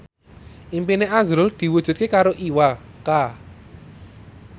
impine azrul diwujudke karo Iwa K